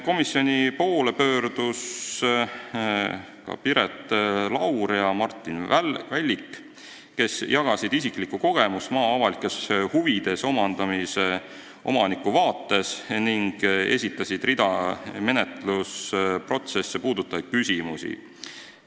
Komisjoni poole pöördusid ka Piret Laur ja Martin Vällik, kes jagasid isiklikku kogemust maa avalikes huvides omandamisel ning esitasid mitu menetlusprotsesse puudutavat küsimust.